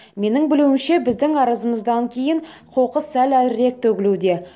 менің білуімше біздің арызымыздан кейін қоқыс сәл әрірек төгілуде